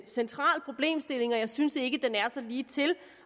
central problemstilling og jeg synes ikke den er så ligetil